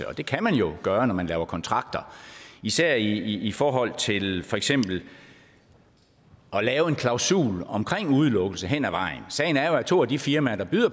det kan man gøre når man laver kontrakter og især i forhold til for eksempel at lave en klausul om udelukkelse hen ad vejen sagen er jo at to af de firmaer der